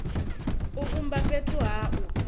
u vhumba fhethu ha u